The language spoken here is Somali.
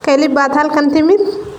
Keli baad halkan timid?